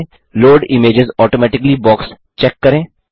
load images automatically box check करें